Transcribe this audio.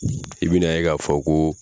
I bi na ye k'a fɔ ko